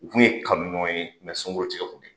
U kun ye kanuɲɔgɔnw ye, sunguru tigɛ kun tɛ.